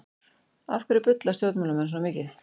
Af hverju bulla stjórnmálamenn svona mikið?